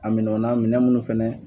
Aminɛnw na minɛn munnu fɛnɛ